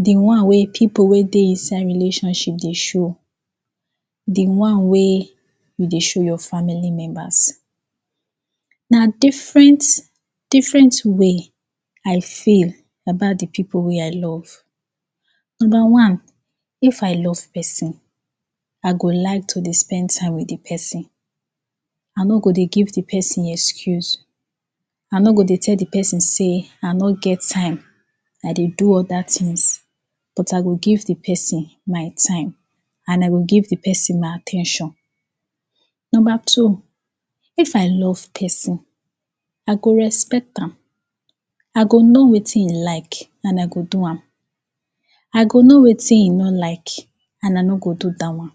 De one wey pipo wey dey inside relationship dey show. De one wey you dey show your family members. Na different, different way I feel about de pipo wey I love. Nomba one, if I love pesin, I go like to dey spend time with de pesin. I no go dey give de pesin excuse. I no go dey tell de pesin sey I no get time. I dey do oda tins but I go give de pesin my time and I go give de pesin my at ten tion. Nomba two, if I love pesin I go respect am. I go no wetin e like and I go do am. I go no wetin e no like and I no go do dat one.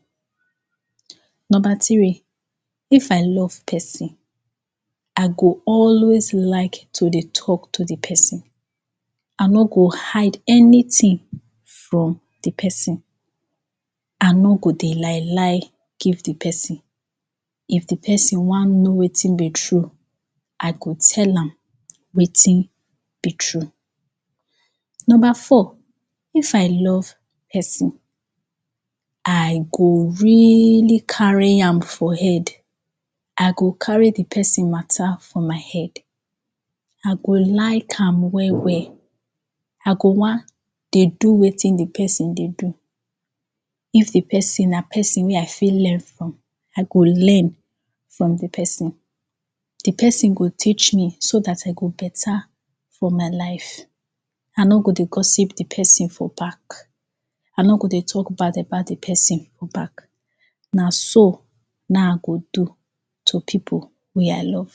Nomba tri, if I love pesin, I go always like to talk to de pesin. I no go hide anytin from de pesin. I no go dey lie lie give de pesin. If de pesin wan no wetin be true, I go tell am wetin be true. Nomba four, if I love pesin, I go really kari am for head. I go kari de pesin mata for my head. I go like am well, well! I go wan dey do wetin de pesin dey do. If de pesin na pesin wey I fit learn from, I go learn from de pesin. De pesin go teach me so dat I go beta for my life. I no go dey gossip de pesin for back. I no go dey talk bad about de pesin for back. Na so, na I go do, to pipo wey I love.